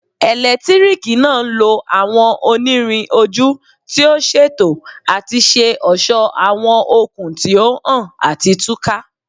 Eletiriki naa nlo awọn onirin oju ti o ṣeto ati ṣe ọṣọ awọn okun ti o han ati tuka